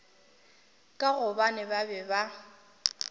ka gobane ba be ba